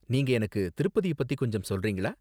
நீங்க எனக்கு திருப்பதிய பத்தி கொஞ்சம் சொல்றீங்களா?